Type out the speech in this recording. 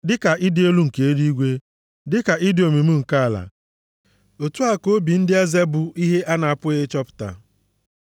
Dịka ịdị elu nke eluigwe, dịka ịdị omimi nke ala, otu a ka obi ndị eze bụ ihe a na-apụghị ịchọpụta.